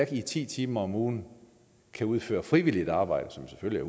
i ti timer om ugen kan udføre frivilligt arbejde som selvfølgelig